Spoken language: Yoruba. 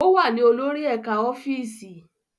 Ó wà ní olórí ẹ̀ka ọ́fíìsì.